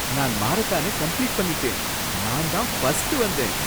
நான் மாரத்தானை கம்ப்ளீட் பண்ணிட்டேன், நான் தான் ஃபர்ஸ்ட் வந்தேன்.